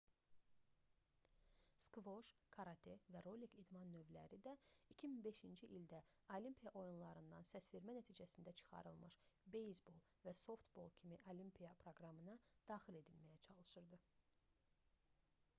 skvoş karate və rolik idman növləri də 2005-ci ildə olimpiya oyunlarından səsvermə nəticəsində çıxarılmış beyzbol və softbol kimi olimpiya proqramına daxil edilməyə çalışırdı